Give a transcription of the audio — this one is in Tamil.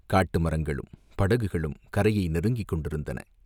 காட்டு மரங்களும், படகுகளும் கரையை நெருங்கிக் கொண்டிருந்தன.